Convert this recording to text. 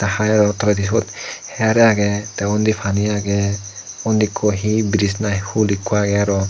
hai aro toledi sut her agey age te undi pani agey undi ekku bridge na hul ekku agey aro.